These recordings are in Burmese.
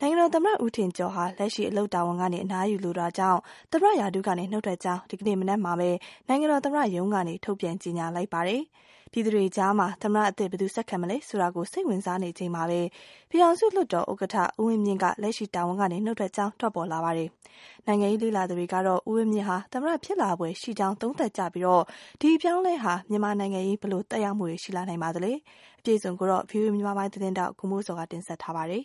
နိုင်ငံတော်သမ္မတ ဦးထင်ကျော်ဟာ လက်ရှိ အလုပ်တာဝန်ကနေ အနားယူလိုတာကြောင့် သမ္မတရာထူးကနေ နုတ်ထွက်ကြောင်း ဒီကနေ့ မနက်ပိုင်းမှာ နိုင်ငံတော်သမ္မတရုံးကနေ ထုတ်ပြန်ကြေညာလိုက်ပါတယ်။ ပြည်သူ တွေကြားမှာ သမ္မတအသစ် ဘယ်သူဆက်ခံမလဲဆိုတာ စိတ်ဝင်စားနေချိန်မှာပဲ ပြည်သူ့ လွှတ်တော် ဥက္ကဌ ဦးဝင်းမြင့်က လက်ရှိတာဝန်က နုတ်ထွက်ကြောင်း ထွက်ပေါ်လာပါတယ်။ နိုင်ငံရေးလေ့လာသူတွေ ကတော့ ဦးဝင်းမြင့်ဟာ သမ္မတဖြစ်လာဖွယ်ရှိကြောင်း သုံးသပ်ကြပြီး ဒီအပြောင်းအလဲဟာ မြန်မာနိုင်ငံရေးမှာ ဘယ်လိုသက်ရောက်မှုတွေ ရှိလာနိုင်ပါသလဲ ။ ဒီသတင်းကို ဗွီအိုအေမြန်မာပိုင်းရဲ့ သတင်းထောက် ကိုမိုးဇော်က တင်ပြထားပါတယ်။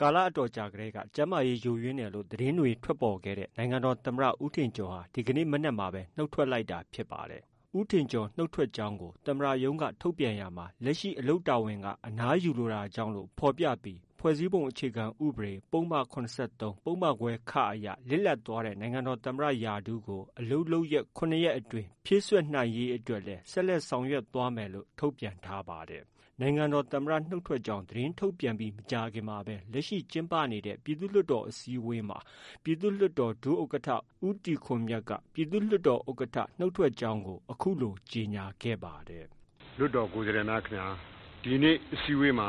ကာလအတော်ကြာတည်းက ကျန်းမာရေးယိုယွင်းလာတယ်လို့ သတင်းတွေ ထွက်ပေါ်ခဲ့တဲ့ နိုင်ငံတော်သမ္မတ ဦးထင်ကျော်ဟာ ဒီကနေ့ မနက်မှာပဲ နုတ်ထွက်လိုက်တာဖြစ်ပါတယ်။ ဦးထင်ကျော်နုတ်ထွက်ကြောင်းကို သမ္မတရုံးက ထုတ်ပြန်ရာမှာ လက်ရှိ အလုပ်တာဝန်က အနားယူလို တာကြောင့်လို့ ဖော်ပြပြီး ဖွဲ့စည်းပုံအခြေခံ ဥပဒေ ပုဒ်မ ၇၃၊ ပုဒ်မခွဲ အရ လစ်လပ်သွားတဲ့ နိုင်ငံတော် သမ္မတ ရာထူးကို အလုပ်လုပ်ရက် ၇ရက်အတွင်း ဖြည့်စွက်နိုင်ရေးအတွက်လည်း ဆက်လက် ဆောင်ရွက်သွားမယ်လို့ ထုတ်ပြန် ထားပါတယ်။ နိုင်ငံတော် သမ္မတနုတ်ထွက်ကြောင်း သတင်းထုတ်ပြန်ပြီး မကြာခင်မှာပဲ လက်ရှိ ကျင်းပနေတဲ့ ပြည်သူ့လွှတ်တော် အစည်းအဝေးမှာ ပြည်သူ့လွှတ်တော် ဒုဥက္ကဌ ဦးတီခွန်မြတ်က ဥက္ကဌ နုတ်ထွက်ကြောင်း အခုလို ကြေညာခဲ့ပါတယ်။ “ လွှတ်တော်ကိုယ်စားလှယ်များ ခင်ဗျား။ ဒီနေ့ အစည်းအဝေးမှာ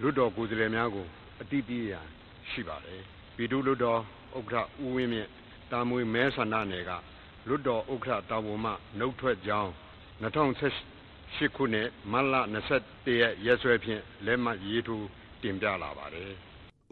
လွှတ်တော်ကိုယ်စားလှယ်များ ကို အသိပေးရန်ရှိပါတယ်။ ပြည်သူ့လွှတ်တေ်ာဥက္ကဌ ဦးဝင်းမြင့် တာမွေ မဲဆန္ဒနယ်မှ လွှတ်တော်ဥက္ကဌ တာဝန်မှ နုတ်ထွက်ကြောင်း ၂၀၁၈ခုနှစ် မတ်လ ၂၁ရက်ရက်စွဲဖြင့် လက်မှတ်ရေးထိုးတင်ပြလာပါတယ်။ ”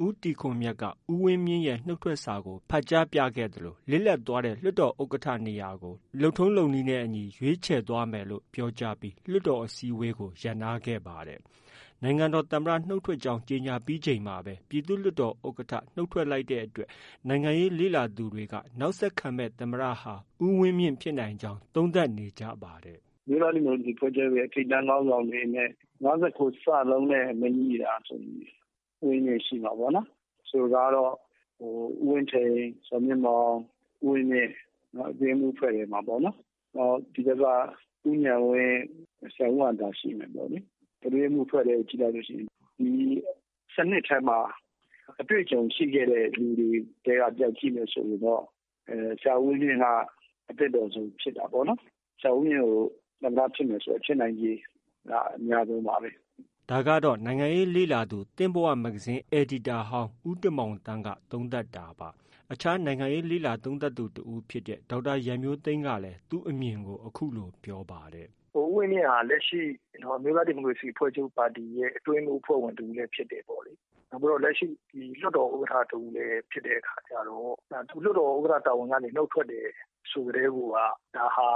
ဦးတီခွန်မြတ်က ဦးဝင်းမြင့်ရဲ့ နုတ်ထွက်စာကို ဖတ်ကြားပြခဲ့သလို လစ်လပ်သွားတဲ့ လွှတ်တော် ဥက္ကဌနေရာကို လုပ်ထုံးလုပ်နည်းနဲ့ အညီ ဆောင်ရွက်သွားမယ်လို့ ပြောကြားပြီး လွှတ်တော်အစည်းအဝေးကို ရပ်နားခဲ့ပါတယ်။ နိုင်ငံတော်သမ္မတနုတ်ထွက်ကြောင်းကြေညာပြီးချိန်မှာပဲ ပြည်သူ့လွှတ်တော်ဥက္ကဌ နုတ်ထွက်လိုက်တဲ့အတွက် နိုင်ငံရေးလေ့လာသူတွေက နောက်ဆက်ခံမယ့် သမ္မတဟာ ဦးဝင်းမြင့်ဖြစ်နိုင်ကြောင်း သုံးသပ်နေကြပါတယ်။ “ အမျိုးသားဒီမိုကရေစီအဖွဲ့ချုပ် ထိပ်တန်းခေါင်းဆောင်တွေ အနေနဲ့ ၅၉ လုံးနဲ့ မငြိတာဆိုရင် ဦးဝင်းမြင့် ရှိမှာပေါ့နော်။ ဆိုလိုတာကတော့ ဦးဝင်းထိန်၊ ဇော်မြင့်မောင်၊ ဦးဝင်းမြင့် အတွင်းရေးမှုး အဖွဲ့ဝင် ထဲမှာ နောက် ဒီဘက်က ဦးဉာဏ်ဝင်း၊ ဆရာဦးဟံသာရှိမယ်ပေါ့လေ။ အတွင်းရေးမှုးအဖွဲ့ထဲကို ကြည့်လိုက်လု့ိ ရှိရင် ဒီ စနစ်ထဲမှာ အတွေ့အကြုံရှိခဲ့တဲ့လူတွေထဲက တယောက်ကို ကြည့်မယ်ဆိုရင်တော့ ဆရာဦးဝင်းမြင့် က အသင့်တော်ဆုံးဖြစ်တာပေါ့နော်။ ဆရာဦးဝင်းမြင့်က သမ္မတဖြစ်မယ်ဆို ဖြစ်နိုင်ချေက အများဆုံးပါပဲ။ ” ဒါကတော့ နိုင်ငံရေးလေ့လာသူ သင့်ဘဝမဂ္ဂဇင်း အယ်ဒီတာဟောင်း ဦးတင်မောင်သန်းက သုံးသပ်တာပါ။ မြန်မာနိုင်ငံရေးသုံးသပ်သူ တဦးဖြစ်တဲ့ ဒေါက်တာရန်မျိုးသိမ်းကလည်း သူ့အမြင်ကို အခုလို ပြောပါတယ်။ “ ဦးဝင်းမြင့်ဟာ လက်ရှိ အမျိုးသားဒီမိုကရေစီအဖွဲ့ချုပ်ပါတီရဲ့ အတွင်းရေးမှူး အဖွဲ့ဝင်လည်းဖြစ်တယ်ပေါ့။ နောက်ပြီးတော့ လက်ရှိ လွှတ်တော်ဥက္ကဌ တဦးလည်းဖြစ်တဲ့ အခါကျတော့ သူ လွှတ်တော်ဥက္ကဌ တာဝန်ကနေ နုတ်ထွက်တယ်ဆိုကတည်းကိုက ဒါဟာ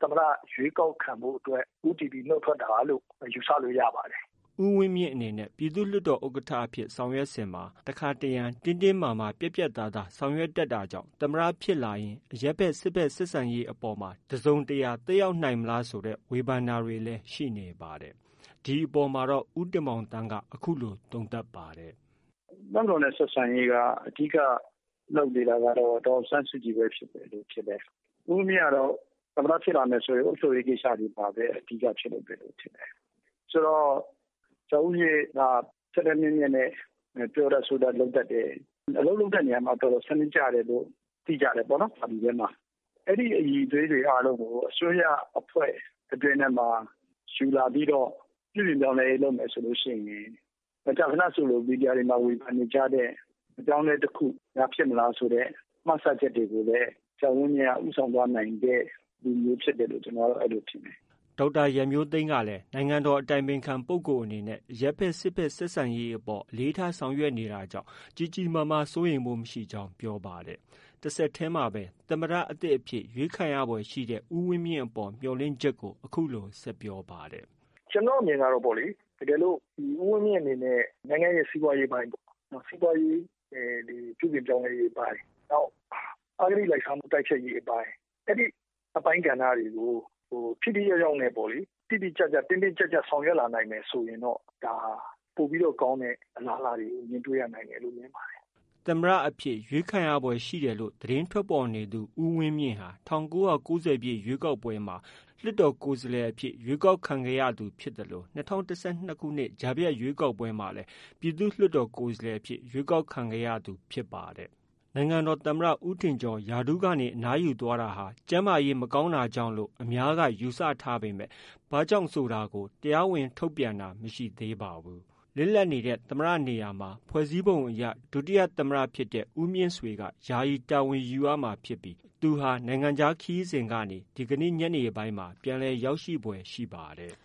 သမ္မတ ရွေးကောက်ခံဖို့အတွက် ဦးတည်ပြီး နုတ်ထွက်တာလို့ ယူဆလို့ ရပါတယ်။” ဦးဝင်းမြင့်အနေနဲ့ ပြည်သူ့လွှတ်တော်ဥက္ကဋ္ဌ အဖြစ်ဆောင်ရွက်စဉ်က တခါတရံ တင်းတင်းမာမာပြတ်ပြတ် သားသား ဆောင်ရွက်တတ်တာကြောင့် သမ္မတဖြစ်လာရင် အရပ်ဖက်-စစ်ဖက်ဆက်ဆံရေးအပေါ်မှာ တစုံတရာ သက်ရောက်နိုင်မလားဆို ဝေဖန်တာတွေ လည်း ရှိနေပါတယ်။ ဒီအပေါ်မှာတော့ ဦးတင်မောင်သန်းက အခုလို သုံးသပ်ပါတယ်။ “ တပ်မတော်နဲ့ ဆက်ဆံရေးက အဓိက လုပ်နေတာတော့ ဒေါ်အောင်ဆန်းစုကြည်ပဲ ဖြစ်တယ်လို့ ထင်တယ်။ ဦးဝင်းမြင့်ကတော့ သမ္မတဖြစ်လာရင် အုပ်ချုပ်ရေးကိစ္စတွေမှာပဲ အဓိက ဖြစ်လောက်တယ်လို့ ထင်တယ်။ ဆိုတော့ ဆရာဦးဝင်းမြင့်က ထက်ထက်မြက်မြက် နဲ့ ပြောတတ် ဆိုတတ်လုပ်တတ်တယ်။ အလုပ်လုပ်တဲ့ နေရာမှာ စနစ်ကျတယ်လို့ သိကြတယ်ပေါ့လေ ပါတီတွင်းမှာ။အဲဒီအရည်အသွေးတွေ အားလုံးကို အစိုးရအဖွဲ့ အတွင်းထဲမှာ ယူလာပြီးတော့ ပြုပြင်ပြောင်းလဲရေးလုပ်မယ်ဆိုရင် မကြာခဏ ဆိုသလို မီဒီယာတွေမှာ ဝေဖန်နေကြတဲ့ အပြောင်းအလဲ တခုများ ဖြစ်မလားဆိုတဲ့ မှန်းဆချက်တွေကိုလည်း ဆရာဦးဝင်းမြင့်က ဦးဆောင်သွားနိုင်တဲ့ လူမျိုးဖြစ်တယ်လို့ ကျနော်က အဲလို ထင်တယ်။ ” ဒေါက်တာရန်မျိုးသိမ်း ကလည်းနိုင်ငံတော်အတိုင်ပင်ခံ ပုဂ္ဂိုလ်အနေနဲ့ အရပ်ဖက်-စစ်ဖက်ဆက်ဆံရေးအပေါ် အလေးထားဆောင်ရွက်နေတာကြောင့် ကြီးကြီးမားမား စိုးရိမ်ဖို့ မရှိနိုင်ကြောင်း ပြောပါတယ်။ တဆက်တည်း မှာပဲ သမ္မတသစ်အဖြစ်ရွေးခြယ် ခံရဖွယ်ရှိတဲ့ ဦးဝင်းမြင့်အပေါ် မျှော်လင့်ချက်ကို အခုလို ဆက်ပြောပါတယ်။ “ကျနော့ အမြင်ကတော့ တကယ်လို့ ဦးဝင်းမြင့်အနေနဲ့ နိုင်ငံရဲ့ စီးပွားရေးအပိုင်းပေါ့။ စီးပွားရေး ပြုပြင်ပြောင်းလဲရေးအပိုင်း၊ နောက် အဂတိလိုက်စားမှုတိုက်ဖျက်ရေးအပိုင်း အဲဒီအပိုင်းကဏ္ဍတွေကို ထိထိရောက်ရောက်နဲ့ပေါ့လေ တိတိကျကျ တင်းတင်း ကျပ်ကျပ်ဆောင်ရွက် လာနိုင်မယ်ဆိုရင်တော့ ဒါဟာ ပိုပြီးတော့ ကောင်းတဲ့ အလားအလာတွေ ကို မြင်တွေ့ရနိုင်တယ်လို့ မြင်ပါတယ်။ ” သမ္မတအဖြစ် ရွေးခြယ်ခံရဖွယ်ရှိတယ်လို့ သတင်းထွက်ပေါ်နေသူ ဦးဝင်းမြင့်ဟာ ၁၉၉၀ပြည့် ရွေးကောက်ပွဲမှာ လွှတ်တေ်ာကိုယ်စားလှယ်အဖြစ် ရွေးကောက်ခံခဲ့ရသူဖြစ် သလို ၂၀၁၂ ကြားဖြတ်ရွေးကောက်ပွဲမှာလည်း ပြည်သူ့လွှတ်တော်ကိုယ်စားလှယ်အဖြစ် ရွေးကောက်ခံခဲ့ရသူဖြစ်ပါတယ်။ သမ္မတ ဦးထင်ကျော် ရာထူးကနေ အနားယူသွား တာ ကျန်းမာရေးမကောင်းတာကြောင့် လို့ပဲ အများက ယူဆထားကြပေမယ့် ဘာကြောင့်လဲဆိုတာကိုတော့ တရားဝင် ထုတ်ပြန်တာမျိုး မရှိသေးပါဘူး။ လစ်လပ်နေတဲ့သမ္မတနေရာမှာ ဖွဲ့စည်းပုံအရ ဒုသမတဖြစ်သူ ဦးမြင့်ဆွေက ယာယီ တာဝန်ယူရမှာဖြစ်ပြီး နိုင်ငံခြားခရီးစဉ်ကနေ ဒီကနေညပိုင်းမှာ ပြန်လည် ရောက်ရှိဖွယ်ရှိပါတယ်။